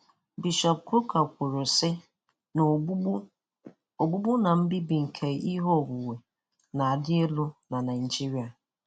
Bishọp Kukah kwuru sị na ogbugbu ogbugbu na mbibi nke ihe onwunwe na-arị elu na Naịjirịa.